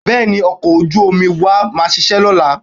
Bẹ́ẹ̀ni, ọkọ̀ ojú-omi wa máa ṣiṣẹ́ lọ́la